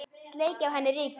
Sleikja af henni rykið.